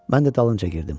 Mən də dalınca girdim.